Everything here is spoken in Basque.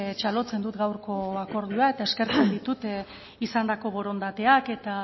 txalotzen dut gaurko akordioa eta eskertzen ditut izandako borondateak eta